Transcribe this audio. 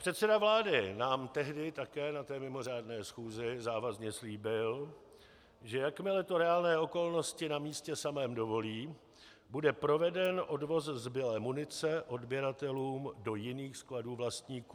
Předseda vlády nám tehdy také na té mimořádné schůzi závazně slíbil, že jakmile to reálné okolnosti na místě samém dovolí, bude proveden odvoz zbylé munice odběratelům do jiných skladů vlastníků.